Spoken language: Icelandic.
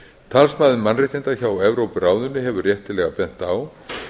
talsmaður mannréttinda hjá evrópuráðinu hefur réttilega bent á